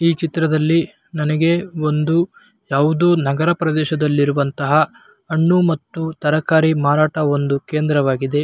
ಈ ಚಿತ್ರದಲ್ಲಿ ನನಗೆ ಒಂದು ಯಾವುದೊ ನಗರ ಪ್ರದೇಶದಲ್ಲಿ ಇರುವಂತಹ ಹಣ್ಣು ಮತ್ತು ತರಕಾರಿ ಮಾರಾಟ ಒಂದು ಕೇಂದ್ರವಾಗಿದೆ.